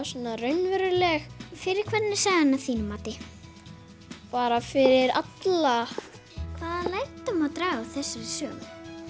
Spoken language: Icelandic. raunveruleg fyrir hvern er sagan að þínu mati bara fyrir alla hvaða lærdóm má draga af þessari sögu